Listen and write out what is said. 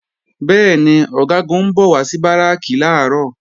Bẹ́ẹ̀ni, Ọ̀gágun ń bọ̀ wá sí Báràkì làárọ̀